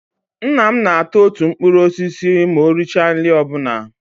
Nna m na ata otu mkpụrụ osisi ma o richa nri ọbụla